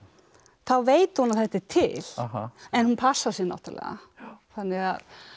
þá veit hún að þetta er til en hún passar sig náttúrulega þannig